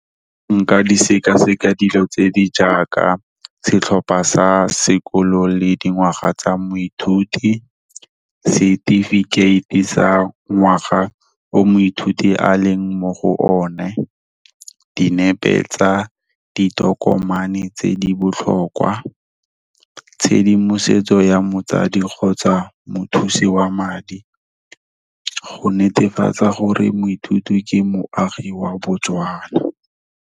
Nka di sekaseka dilo tse di jaaka, setlhopha sa sekolo le dingwaga tsa moithuti, setifikeite e sa ngwaga o moithuti a leng mo go one, dinepe tsa ditokomane tse di botlhokwa, tshedimosetso ya motsadi kgotsa mothusi wa madi, go netefatsa gore moithuti ke moagi wa Botswana.